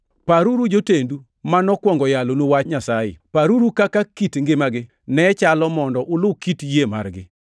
Paruru jotendu ma nokwongo yalonu Wach Nyasaye. Paruru kaka kit ngimagi ne chalo mondo ulu kit yie margi.